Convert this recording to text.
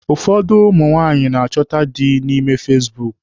Ụfọdụ ụmụ nwaanyị na-achọta dị na ime fasibuuku.